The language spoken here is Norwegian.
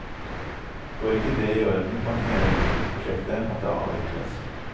Går ikke det i orden, kan hele luksusprosjektet måtte avvikles.